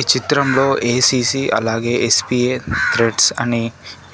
ఈ చిత్రంలో ఎ_సి_సి అలాగే ఎస్_పి_ఏ త్రెడ్స్ అని